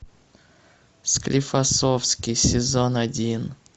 склифосовский сезон один